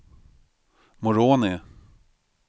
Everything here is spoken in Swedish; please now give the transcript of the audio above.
Moroni